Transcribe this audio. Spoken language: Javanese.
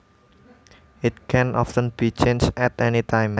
It can often be changed at any time